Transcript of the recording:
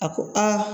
A ko aa